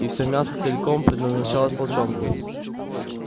и все мясо целиком предназначалось волчонку